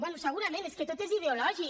bé segurament és que tot és ideològic